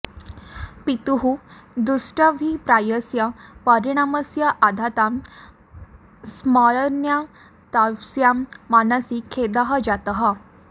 पितुः दुष्टाभिप्रायस्य परिणामस्य आघातान् स्मरन्त्याः तस्याः मनसि खेदः जातः